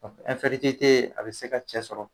a bɛ se ka cɛ sɔrɔ